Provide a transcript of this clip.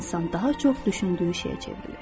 İnsan daha çox düşündüyü şeyə çevrilir.